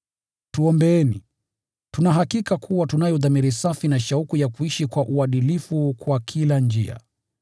Tuombeeni. Tuna hakika kuwa tunayo dhamiri safi na shauku ya kuishi kwa uadilifu kwa kila njia.